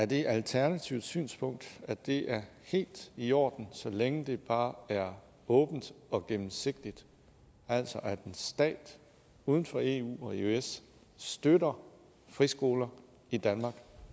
det er alternativets synspunkt at det er helt i orden så længe det bare er åbent og gennemsigtigt altså at en stat uden for eu eller eøs støtter friskoler i danmark